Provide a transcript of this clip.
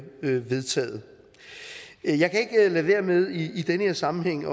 vedtaget jeg kan ikke lade være med i den her sammenhæng